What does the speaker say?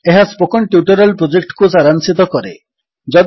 ଏହା spoken tutorial ପ୍ରୋଜେକ୍ଟକୁ ସାରାଂଶିତ କରେ